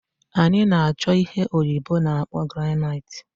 Anyi na-acho ihe oyibo na-akpo granite